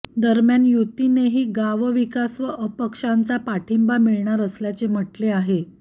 दरम्यान युतीनेही गावविकास व अपक्षांचा पाठिंबा मिळणार असल्याचे म्हटले आहे